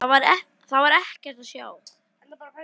Þar var ekkert að sjá.